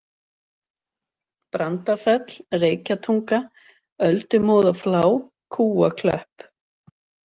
Brandafell, Reykjatunga, Öldumóðaflá, Kúaklöpp